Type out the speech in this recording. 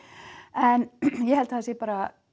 en ég held að það sé bara